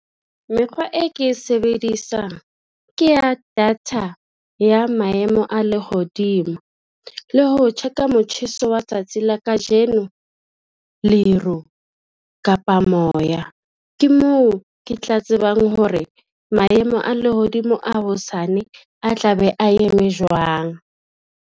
Mekgwa e ke e sebedisang ke ya data ya maemo a lehodimo le ho check-a motjheso wa tsatsi la kajeno, leru kapa moya. Ke moo, ke tla tsebang hore maemo a lehodimo a hosane a tla be a eme jwang.